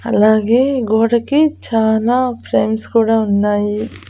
అలాగే గోడకి చాలా ఫ్రేమ్స్ కూడా ఉన్నాయి.